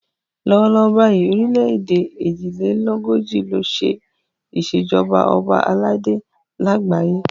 Lọ́wọ́ lọ́wọ́ báyìí orílẹ̀ èdè èjì lé lógójì ló ṣe ìṣèjọba ọba aládé lágbàáyé.